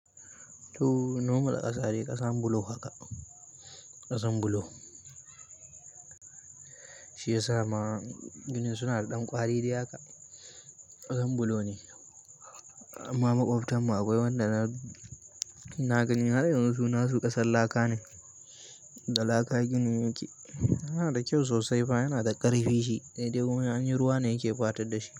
To, nomal ƙasa dai ƙasan bulo haka, ƙasan bulo. Shi ya sa ma ginin suna da dan kwari haka kasan bulo ne, amma makwabtan mu akwai wanda na gani har yanzu su nasu kasan laka ne. Da laka ginin yake yana da kyau sosai fa yana da ƙarfi shi, sai dai kuma in anyi ruwa ne yake patar da shi.